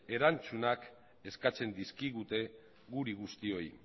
erantzunak eskatzen dizkigute guri guztioi